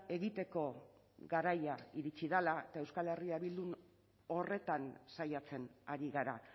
egiteko garaia iritsi dela eta euskal herria bildun horretan saiatzen ari gara